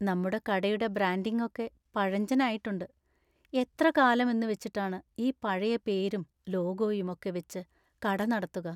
നമ്മുടെ കടയുടെ ബ്രാൻഡിങ് ഒക്കെ പഴഞ്ചനായിട്ടുണ്ട്; എത്ര കാലം എന്നുവെച്ചിട്ടാണ് ഈ പഴയ പേരും ലോഗോയും ഒക്കെ വെച്ച് കട നടത്തുക?